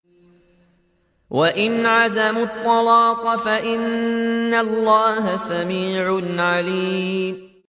وَإِنْ عَزَمُوا الطَّلَاقَ فَإِنَّ اللَّهَ سَمِيعٌ عَلِيمٌ